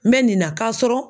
N bɛ nin na kasɔrɔ